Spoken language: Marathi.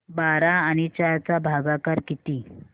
बारा आणि चार चा भागाकर किती